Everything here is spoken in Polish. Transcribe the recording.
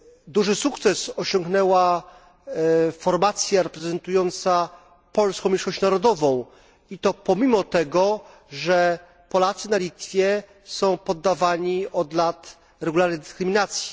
Duży sukces osiągnęła formacja reprezentująca polską mniejszość narodową, i to pomimo tego, że Polacy na Litwie są poddawani od lat regularnej dyskryminacji.